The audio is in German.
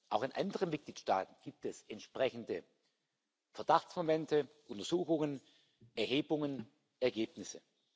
Auch in anderen Mitgliedstaaten gibt es entsprechende Verdachtsmomente, Untersuchungen, Erhebungen, Ergebnisse.